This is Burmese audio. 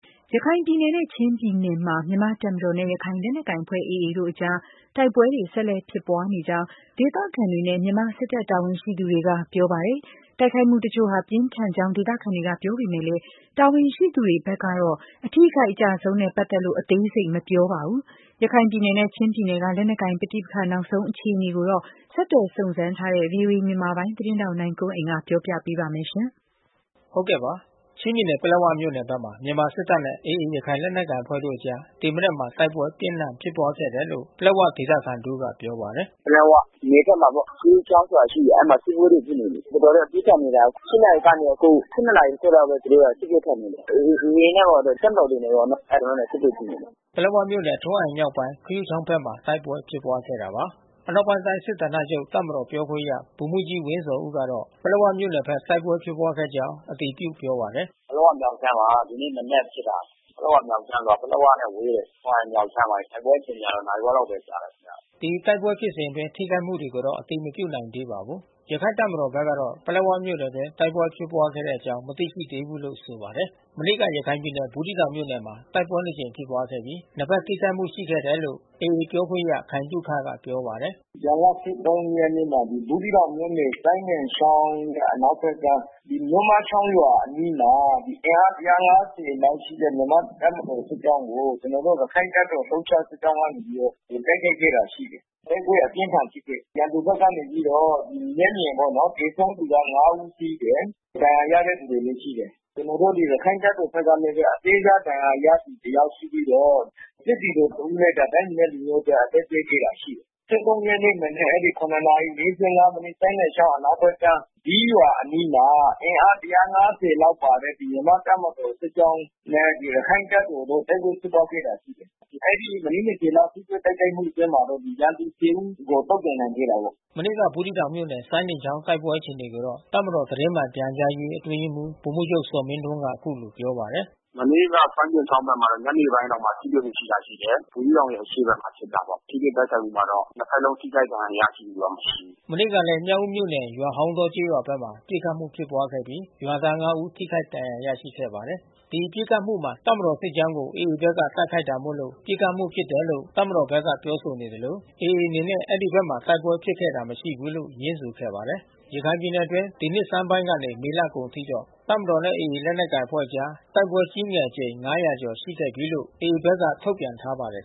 ရခိုင်ပြည်နယ်နဲ့ ချင်းပြည်နယ်မှာ မြန်မာ့တပ်မတော်နဲ့ ရခိုင်လက်နက်ကိုင်အဖွဲ့ AA တို့အကြား တိုက်ပွဲတွေ ဆက်လက် ဖြစ်ပွားနေကြောင်း ဒေသခံတွေနဲ့ မြန်မာစစ်တပ် တာဝန်ရှိသူတွေက ပြောပါတယ်။ တိုက်ခိုက်မှုတချို့ဟာ ပြင်းထန်ကြောင်း ဒေသခံတွေက ပြောပေမဲ့လည်း တာဝန်ရှိသူတွေကတော့ အထိအခိုက် အကျအဆုံးနဲ့ ပတ်သက်လို့ အသေးစိတ်တော့ မပြောပါဘူး။ ရခိုင်ပြည်နယ်နဲ့ ချင်းပြည်နယ်က လက်နက်ကိုင်ပဋိပက္ခ နောက်ဆုံး အခြေအနေကိုတော့ ဆက်သွယ်စုံစမ်းထားတဲ့ ဗွီအိုအေမြန်မာပိုင်း သတင်းထောက် နိုင်ကွန်းအိန် ကပြောပြပေးမှာပါ။ ချင်းပြည်နယ် ပလက်ဝမြို့နယ် မှာ မြန်မာစစ်တပ်နဲ့ AA ရခိုင်လက်နက်ကိုင်အဖွဲ့တို့အကြား ဒီနေ့မနက်မှာ တိုက်ပွဲပြင်းထန်ဖြစ်ပွားခဲ့တယ်လို့ ပလက်ဝဒေသခံ တဦးက ပြောပါတယ်။ “ပလက်ဝနယ်မှာပေါ့။ ခရုချောင်းဆိုတာ ရှိတယ်။ အဲဒီမှာ တိုက်ပွဲဖြစ်နေတယ်။ တော်တော်လေး ပြင်းထန်နေတယ်။ ၈ နာရီကနေ အခု ၁၂ ခွဲလောက် သူတို့က စစ်ပွဲဖြစ်နေတယ်။ AA တွေနဲ့ပေါ့လေ တပ်မတော်တွေနဲ့ အဲသူတို့နဲ့ တိုက်ပွဲ ဖြစ်နေတယ်။” ပလက်ဝမြို့နယ် ထရွမ်းအိုင်မြောက်ပိုင် ခရုချောင်း မှာ တိုက်ပွဲ ဖြစ်ပွားခဲ့တာပါ။ အနောက်ပိုင်းတိုင်း စစ်ဌာနချုပ် တပ်မတော်ပြောခွင့်ရ ဗိုလ်မှူးကြီး ဝင်းဇော်ဦးကတော့ ပလက်ဝမြို့နယ်ဘက် တိုက်ပွဲဖြစ်ပွားကြောင်း အတည်ပြုပြောပါတယ်။ “ပလက်ဝမြောက်ခြမ်းမှာ ဒီနေ့မနက်ဖြစ်တာ။ ပလက်ဝမြောက်ခြမ်းဆိုတာ ပလက်ဝနဲ့ ဝေးတယ်။ ထရွမ်းအိုင်မြောက်ခြမ်းမှာ တိုက်ပွဲတွေကတော့ နာရီဝက်လောက်ပဲ ကြာတယ်။” ဒီတိုက်ပွဲဖြစ်စဉ်အတွင်း ထိခိုက်မှုတွေကို အတည်မပြုနိုင်သေးပါဘူး။ ရခိုင့်တပ်မတော်ဘက်ကတော့ ပလက်ဝမြို့နယ်အတွင်း တိုက်ပွဲဖြစ်ပွားတဲ့အကြောင်း မသိရှိသေးဘူးလို့ ဆိုပါတယ်။ မနေ့က ရခိုင်ပြည်နယ် ဘူးသီးတောင်မြို့နယ်မှာ တိုက်ပွဲ နှစ်ကြိမ် ဖြစ်ပွားခဲ့ပြီး နှစ်ဘက်ထိခိုက်မှု ရှိခဲ့တယ်လို့ AA ပြောခွင့်ရ ခိုင်သုခက ပြောပါတယ်။ “ဇွန်လ ၁၃ ရက် နေ့မှာ ဘူးသီးတောင်မြို့နယ် စိုင်းဒင်ချောင်း အနောက်ဘက်ကမ်း မြို့မချောင်းရွာရဲ့အနီးမှာ အင်အား ၁၅၀ ခန့်ရှိတဲ့ မြန်မာ့တပ်မတော်စစ်ကြောင်းကို ကျနော်တို့ ရခိုင့်တပ်မတော် လှုပ်ရှားစစ်ကြောင်းကနေပြီးတော့ ဝင်တိုက်ခိုက်ခဲ့တာ ရှိတယ်။ တိုက်ပွဲအပြင်းအထန် ဖြစ်ခဲ့တယ်။ ရန်သူဘက်ကနေပြီးတော့ မျက်မြင်ပေါ့နော်။ သေဆုံးသူက ၅ ဦးရှိတယ်။ ဒဏ်ရာရတဲ့သူတွေလည်း ရှိတယ်။ ကျနော်တို့ ရခိုင့်တပ်မတော်ဘက်ကလည်းပဲ အသေးစား ဒဏ်ရာရသူ တယောက် ရှိပြီးတော့ စစ်သည်တော် တဦးလည်း တိုင်းပြည်နဲ့လူမျိုးအတွက် အသက်ပေးခဲ့တာ ရှိတယ်။ ၁၃ ရက်နေ့ မနက် ၇ နာရီ ၄၅ မိနစ် စိုင်းဒင်ချောင်းအနောက်ဘက်ကမ်း ဈီးရွာအနီးမှာ အင်အား ၁၅၀ လောက်ပါတဲ့ တပ်မတော်စစ်ကြောင်း နဲ့ရခိုင့်တပ်တော်တို့ တိုက်ပွဲဖြစ်ပွားခဲ့တာ ရှိတယ်။ အဲဒီမိနစ် ၂၀ လောက်ထိတော့ တိုက်ခိုက်မှုအတွင်းမှာတော့ ရန်သူ ၁၀ ကျော် သုတ်သင်နိုင်ခဲ့တယ်ပေါ့။” မနေ့က ဘူးသီးတောင်မြို့နယ် စိုင်းဒင်းချောင်းတိုက်ပွဲ အခြေအနေကိုတော့ တပ်မတော်သတင်းမှန်ပြန်ကြားရေး အတွင်းရေးမှူးဗိုလ်မှူးချုပ် ဇော်မင်းထွန်းက အခုလိုပြောပါတယ်။ “မနေ့က စိုင်းဒင်ချောင်းဘက်မှာတော့ ညနေပိုင်းလောက်မှာ ထိတွေ့မှုဖြစ်တာ ရှိတယ်။ ဘူးသီးတောင်ရဲ့ အရှေ့ဘက်မှာ ဖြစ်တာပေါ့။ ထိတွေ့တိုက်ခိုက်မှုမှာတော့ နှစ်ဘက်လုံးထိခိုက်ဒဏ်ရာရတာ မရှိဘူး။ မနေ့ကလည်း မြောက်ဦးမြို့နယ် ရွာဟောင်းတောကျေးရွာဘက်မှာ ပစ်ခတ်မှု ဖြစ်ပွားခဲ့ပြီး ရွာသား ၅ ဦးထိခိုက် ဒဏ်ရာ ရရှိခဲ့ပါတယ်။ ဒီပစ်ခတ်မှုမှာ တပ်မတော်ဘက်စစ်ကြောင်းကို AA ဘက်က တိုက်ခိုက်တာမို့လို့ ပစ်ခတ်မှုဖြစ်တယ်လို့ တပ်မတော်ဘက်က ပြောဆိုနေသလို AA အနေနဲ့ အဲဒီဘက်မှာ တိုက်ပွဲဖြစ်ခဲ့တာမရှိဘူးလို ငြင်းဆိုခဲ့ပါတယ်။ ရခိုင်ပြည်နယ်အတွင်း ဒီနှစ်ဆန်းပိုင်းကနေ မေလကုန်အထိတော့ တပ်မတော်နဲ့ AA လက်နက်ကိုင်အဖွဲ့အကြား တိုက်ပွဲကြီးငယ်အကြိမ် ၅၀၀ ကျော်ခဲ့ပြီးလို့ AA ဘက်က ထုတ်ပြန်ထားပါတယ်